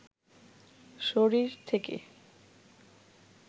শরীর থেকে